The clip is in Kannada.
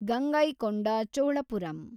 ಗಂಗೈಕೊಂಡ ಚೋಳಪುರಂ